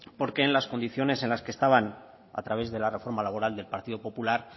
porque en las condiciones en las que estaban a través de la reforma laboral del partido popular